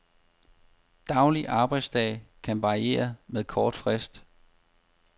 Daglig arbejdsdag kan varieres med kort frist.